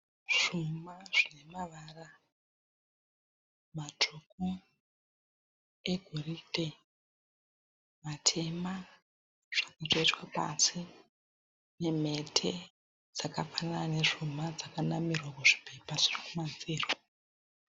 Zvuma zvine mavara matsvuku, egoridhe, matema zvakaiswa pasi nemhete dzakafanana ne zvuma dzakanamirwa muzvipepa zviri kumazviro